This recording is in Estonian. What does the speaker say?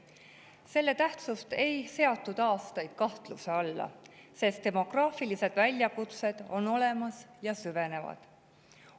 Selle tähtsust ei seatud aastaid kahtluse alla, sest demograafilised väljakutsed on olemas ja süvenevad.